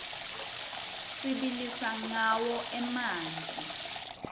sibilisa rqawo emanti